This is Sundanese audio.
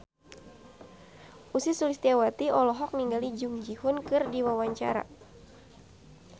Ussy Sulistyawati olohok ningali Jung Ji Hoon keur diwawancara